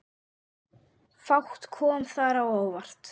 Fátt kom þar á óvart.